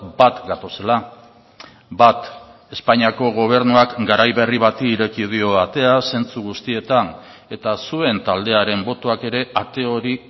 bat gatozela bat espainiako gobernuak garai berri bati ireki dio atea zentzu guztietan eta zuen taldearen botoak ere ate hori